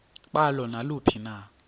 balo naluphi na